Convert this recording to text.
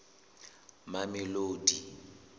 mamelodi